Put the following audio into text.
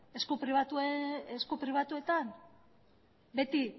esku pribatuetan beti